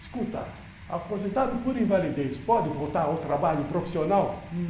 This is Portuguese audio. Escuta, aposentado por invalidez, pode voltar ao trabalho profissional?